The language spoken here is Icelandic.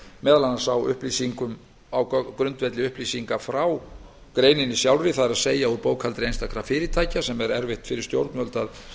meðal annars á grundvelli upplýsinga frá greininni sjálfri það er úr bókhaldi einstakra fyrirtækja sem er erfitt fyrir stjórnvöld að